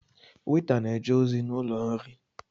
Weta na-eje ozi n’ụlọ nri